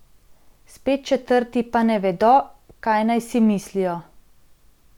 Spet četrti pa ne vedo, kaj naj si mislijo.